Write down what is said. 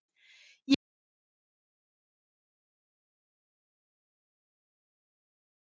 Ég get ekki neitað þeim því, hversu leiðinlegur væri ég ef ég myndi gera slíkt?